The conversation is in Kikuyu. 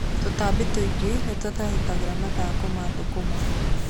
Tũtambi tũingĩ nĩ tũtharĩkagĩra mathangũ ma thũkũma.